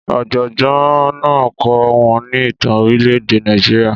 Ọ̀jọ̀gbọ́n náà ń kọ́ wọn ní ìtàn orílẹ̀-èdè Nàìjíríà.